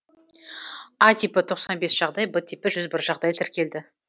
а типі тоқсан бес жағдай б типі жүз бір жағдай тіркелді